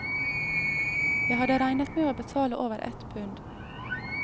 Jeg hadde regnet med å betale over ett pund.